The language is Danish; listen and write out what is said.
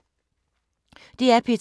DR P2